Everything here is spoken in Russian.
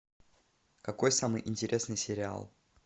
какой самый интересный сериал